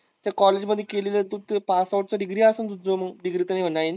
त्या कॉलेज मध्ये केली ना तू ते पासआउट ची डिग्री असंन तुझं मग डिग्री